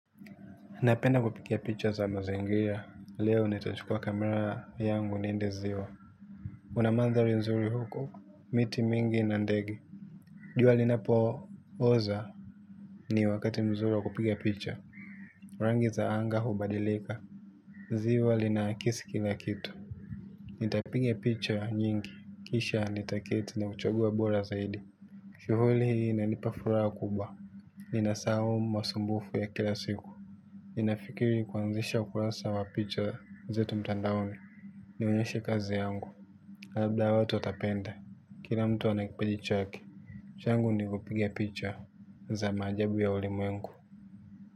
Napenda kupiga picha za mazingira, leo nitachukua camera yangu niende ziwa kuna mandhari nzuri huko, miti mingi nandege. Jua linapo oza ni wakati mzuri wa kupiga picha. Rangi za anga hubadilika. Ziwa linakisi kila kitu. Nitapiga picha nyingi, kisha nitaketi ni chague bora zaidi. Kivuli inanipa furaha kubwa. Ninasahau masumbufu ya kila siku nafikiri kuanzisha ukurasa wa picha zetu mtandaoni. Nionyeshe kazi yangu labda watu watapenda. Kila mtu anakipindi chake. Changu ni kupiga picha za maajabu ya ulimwengu.